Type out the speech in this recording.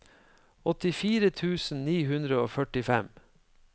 åttifire tusen ni hundre og førtifem